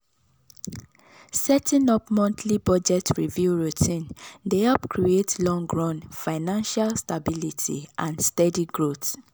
setting up monthly budget review routine dey help create long-run financial stability and steady growth.